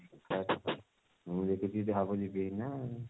ମୁଁ ଦେଖିବୀ ହବ ଯଦି ଯିବି ହେରି ନା